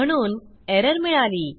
म्हणून एरर मिळाली